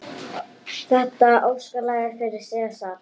Þetta er óskalag fyrir Sesar.